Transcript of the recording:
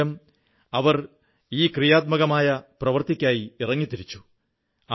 ഇത് മൂലം അവർ ഈ ക്രിയാത്മകമായ പ്രവർത്തിക്കായി ഇറങ്ങിത്തിരിച്ചു